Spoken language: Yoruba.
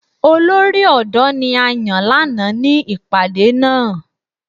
Olori odo ni a yan lana ni ipade naa.